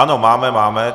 Ano, máme, máme.